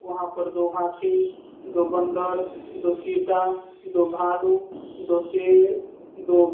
वहां पर दो हाथी दो बंदर दो चीता दो भालू दो शेर दो--